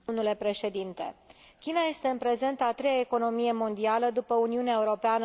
China este, în prezent, a treia economie mondială, după Uniunea Europeană și Statele Unite.